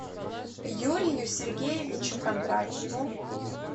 юрию сергеевичу кондратьеву